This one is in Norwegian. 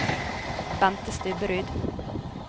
Bente Stubberud